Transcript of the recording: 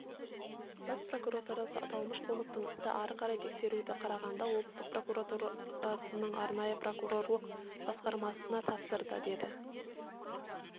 бас прокуратурасы аталмыш қылмыстық істі ары қарай тексеруді қарағанды облысы прокуратурасының арнайы прокурорлар басқармасына тапсырды деді